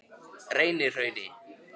Reynihrauni